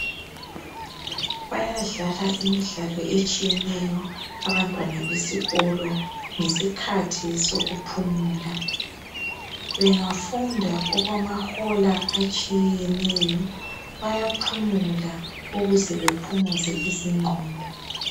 Bayadlala imidlalo etshiyeneyo abantwana besikolo ngesikhathi sokuphumula. Bengafunda okwamahola atshiyeneyo bayaphumula ukuze bephumuze izingqondo